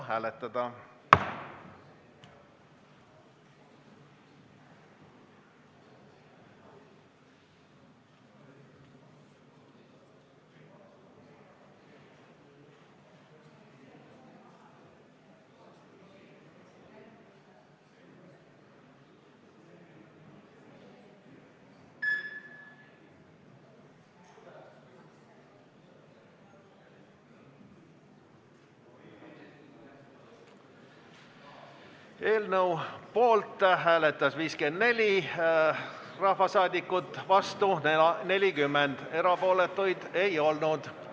Hääletustulemused Eelnõu poolt hääletas 54 rahvasaadikut, vastu oli 40, erapooletuid ei olnud.